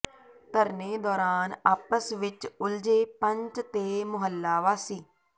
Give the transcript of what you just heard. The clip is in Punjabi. ਧਰਨੇ ਦੌਰਾਨ ਆਪਸ ਵਿੱਚ ਉਲਝੇ ਪੰਚ ਤੇ ਮੁਹੱਲਾ ਵਾਸੀ